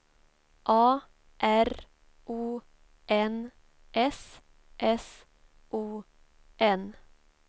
A R O N S S O N